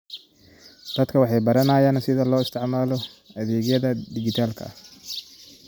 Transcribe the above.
Dadku waxay baranayaan sida loo isticmaalo adeegyada dhijitaalka ah.